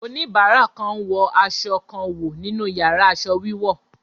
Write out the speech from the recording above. Oníbàárà kan ń wọ aṣọ kan wò nínú yàrá aṣọ wíwọ̀.